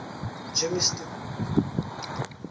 germiston